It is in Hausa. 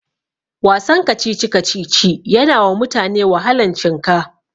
Wasan kacici-kacici yanawa mutane wahalan cinka.